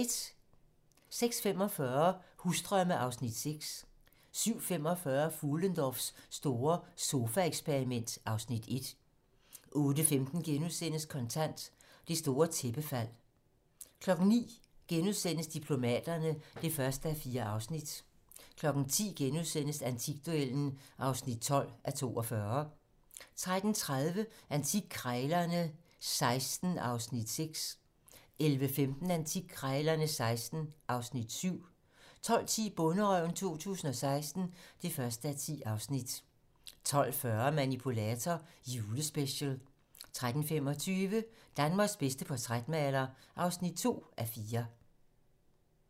06:45: Husdrømme (Afs. 6) 07:45: Fuhlendorffs store sofaeksperiment (Afs. 1) 08:15: Kontant: Det store tæppefald * 09:00: Diplomaterne (1:4)* 10:00: Antikduellen (12:42)* 10:30: Antikkrejlerne XVI (Afs. 6) 11:15: Antikkrejlerne XVI (Afs. 7) 12:10: Bonderøven 2016 (1:10) 12:40: Manipulator - Julespecial 13:25: Danmarks bedste portrætmaler (2:4)